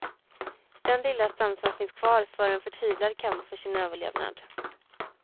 Den lilla stam som finns kvar för en förtvivlad kamp för sin överlevnad.